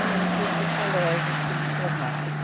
E eu fui para o colégio, semi-internato.